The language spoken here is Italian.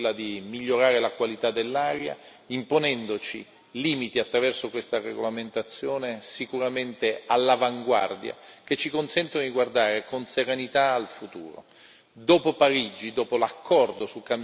Sicuramente andiamo nella direzione giusta che è quella di migliorare la qualità dell'aria, imponendoci limiti attraverso questa regolamentazione sicuramente all'avanguardia, che ci consente di guardare con serenità al futuro.